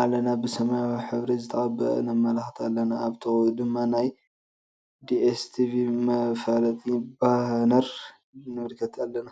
ኣለና ብ ስማያዊ ሕበሪ ዘተቀበአ ነመልከት አለና አብ ጥቅኡ ደማ ናየ ዲኤስ ቴቪ መፋለጢ ባነር ንምልከት አለና።